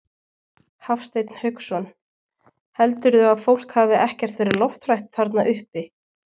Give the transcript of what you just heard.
Hafsteinn Hauksson: Heldurðu að fólkið hafi ekkert verið lofthrætt þarna uppi?